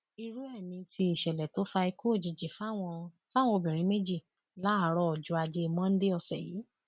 irú ẹ ni ti ìṣẹlẹ tó fa ikú òjijì fáwọn fáwọn obìnrin méjì láàárọ ọjọ ajé monde ọsẹ yìí